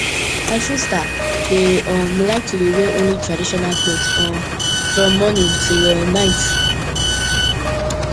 my sister dey um like to wear only traditional cloth um from morning till um night